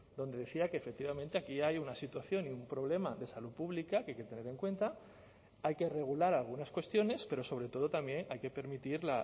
donde decía que efectivamente aquí hay una situación y un problema de salud pública que hay que tener en cuenta hay que regular algunas cuestiones pero sobre todo también hay que permitir